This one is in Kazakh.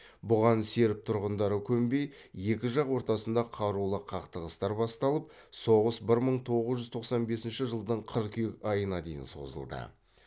бұған серб тұрғындары көнбей екі жақ ортасында қарулы қақтығыстар басталып соғыс бір мың тоғыз жүз тоқсан бенсінші жылдың қыркүйек айына дейін созылды